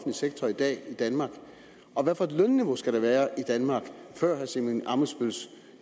sektor i dag i danmark og hvad for et lønniveau skal der være i danmark før herre simon emil ammitzbølls